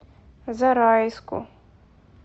зарайску